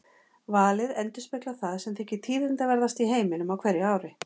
Valið endurspeglar því það sem þykir tíðindaverðast í heiminum á hverju ári.